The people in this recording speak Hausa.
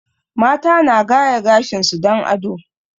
Mata na gaya gashin su don ado